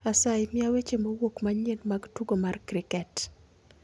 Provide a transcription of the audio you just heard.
Asayi mia weche mowuok manyien mag tugo mar kriket